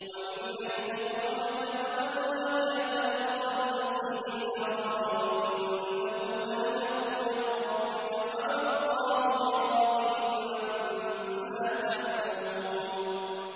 وَمِنْ حَيْثُ خَرَجْتَ فَوَلِّ وَجْهَكَ شَطْرَ الْمَسْجِدِ الْحَرَامِ ۖ وَإِنَّهُ لَلْحَقُّ مِن رَّبِّكَ ۗ وَمَا اللَّهُ بِغَافِلٍ عَمَّا تَعْمَلُونَ